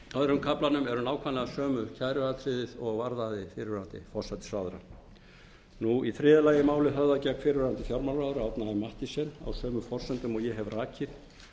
öðrum kaflanum eru nákvæmlega sömu kæruatriðin og varðaði fyrrverandi forsætisráðherra í þriðja lagi er málið höfðað gegn fyrrverandi fjármálaráðherra árna m mathiesen á sömu forsendum og ég hef rakið